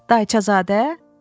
Dayçazadə?